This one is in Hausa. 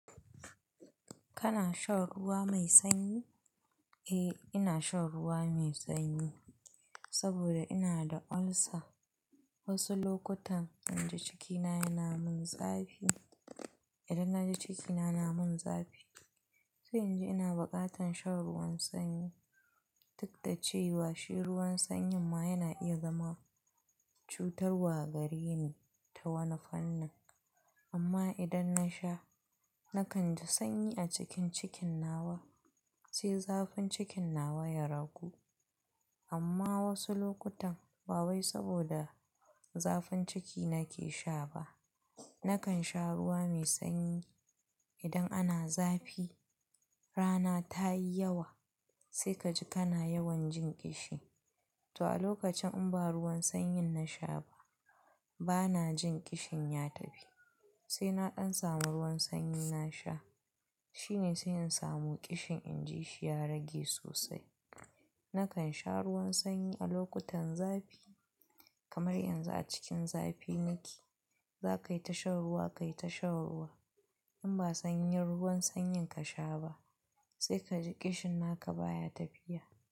Kana shan ruwa mai sanyi? Eh, ina shan ruwa mai sanyi saboda ina da ulcer. Wasu lokutan idan jikina yana min zafi, idan na ji jikina na min zafi sai in ji ina buƙatar shan ruwan sanyi. Duk da cewa shi ruwan sanyin ma yana iya zama cutarwa gare ni ta wani fanin. Amma idan na sha, na kan ji sanyi a cikin cikin nawa sai zafin cikin nawa ya ragu. Amma wasu lokutan ba wai saboda zafin ciki nake sha ba. Nakan sha ruwa mai sanyi idan ana zafi, rana ta yi yawa sai ka ji kana yawan jin ƙishi. To a lokacin in ba ruwan sanyin na sha ba, ba na jin ƙishin ya tafi. Sai na ɗan samu ruwan sanyi na sha shine sai in samu ƙishin in ji shi ya rage sosai. Nakan sha ruwan sanyi a lokutan zafi kamar yanzu a cikin zafi nake za ka yi ta shan ruwa, ka yi ta shan ruwa. In ba sanyin ruwan sanyin ka sha ba sai ka ji ƙishin naka baya tafiya.